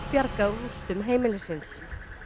bjargað úr rústum heimilis síns